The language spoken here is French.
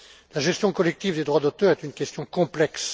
La gestion collective des droits d'auteur est une question complexe.